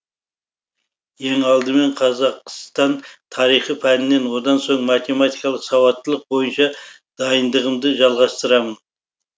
ең алдымен қазақстан тарихы пәнінен одан соң математикалық сауаттылық бойынша дайындығымды жалғастырамын